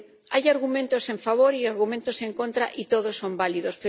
Hay argumentos a favor y argumentos en contra, y todos son válidos.